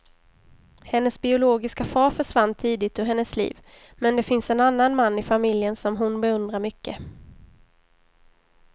Hennes biologiska far försvann tidigt ur hennes liv, men det finns en annan man i familjen som hon beundrar mycket.